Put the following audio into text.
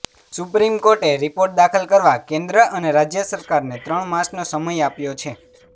supreme કોર્ટે report દાખલ કરવા કેન્દ્ર અને રાજ્ય સરકારને ત્રણ માસનો સમય આપ્યો છે